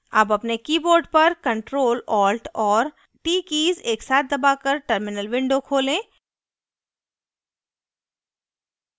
अब अपने keyboard पर ctrl + alt और t कीज़ एकसाथ दबाकर terminal window खोलें